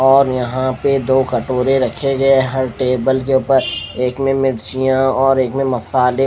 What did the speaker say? और यह पर दो कटोरे रखे गये है टेबल के ऊपर एक में मिर्चिया और एक में मसाले--